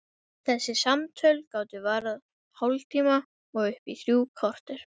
Þessi samtöl gátu varað hálftíma og upp í þrjú korter.